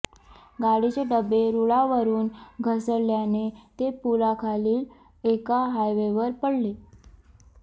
गाडीचे डबे रुळावरुन घसरल्याने ते पुलाखालील एका हायवेवर पडले